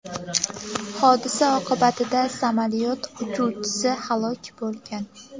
Hodisa oqibatida samolyot uchuvchisi halok bo‘lgan.